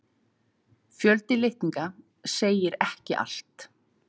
Fjöldi litninga segir ekki allt.